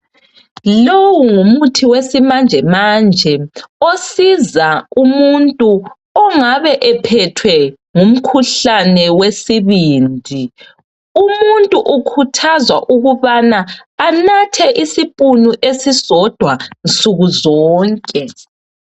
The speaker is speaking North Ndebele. Lowu ngumuthi wesimanjemanje osiza umuntu ongabe ephethwe ngumkhuhlane wesibindi. Umuntu ukhuthazwa ukuba anathe isipunu esisodwa nsukuzonke